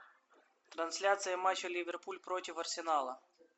трансляция матча ливерпуль против арсенала